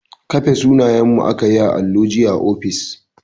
Kafe sunanyenmu aka yi a allo jiya a ofis